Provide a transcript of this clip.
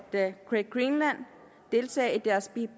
at great greenland deltager i deres